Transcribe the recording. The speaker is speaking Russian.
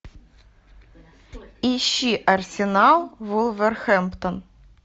ищи арсенал вулверхэмптон